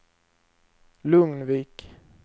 Lugnvik